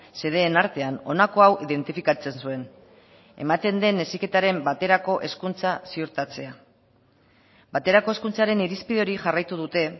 xedeen artean honako hau identifikatzen zuen ematen den heziketaren baterako hezkuntza ziurtatzea baterako hezkuntzaren irizpide hori jarraitu dute